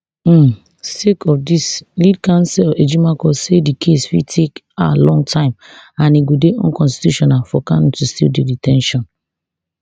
um sake of dis lead counsel ejimakor say di case fit take a long time and e go dey unconstitutional for kanu to still dey de ten tion